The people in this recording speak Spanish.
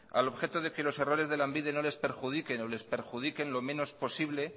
al objeto de que los errores de lanbide no les perjudiquen o les perjudiquen lo menos posible